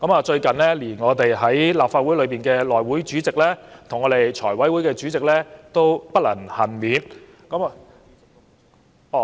最近，連我們的內務委員會主席及財務委員會主席也不能幸免。